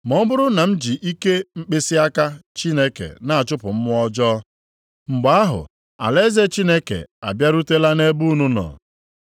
Ma ọ bụrụ na m ji ike mkpịsịaka Chineke na-achụpụ mmụọ ọjọọ, mgbe ahụ alaeze Chineke abịarutela nʼebe unu nọ.